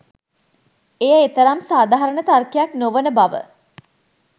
එය එතරම් සාධාරණ තර්කයක් නොවන බව